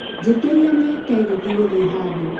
njiĩtĩria nie tegithi gũthiĩhandũ